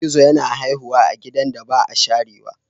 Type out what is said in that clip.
Gizo-gizo yana haihuwa a gidan da ba a sharewa.